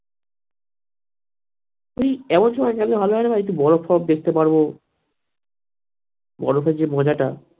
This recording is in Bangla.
এবছরে গেলে একটু ভালো হয় না ভাই একটু বরফ টরফ দেখতে পারবো বরফের যে মজাটা